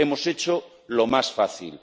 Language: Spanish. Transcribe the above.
Hemos hecho lo más fácil.